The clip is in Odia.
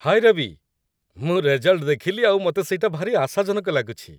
ହାଏ ରବି, ମୁଁ ରେଜଲ୍ଟ ଦେଖିଲି ଆଉ ମତେ ସେଇଟା ଭାରି ଆଶାଜନକ ଲାଗୁଛି ।